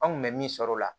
An kun bɛ min sɔrɔ o la